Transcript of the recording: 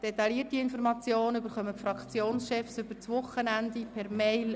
Detaillierte Informationen erhalten die Fraktionschefs am Wochenende per Mail.